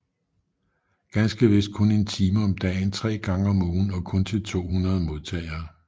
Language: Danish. Ganske vist kun en time om dagen tre gange om ugen og kun til 200 modtagere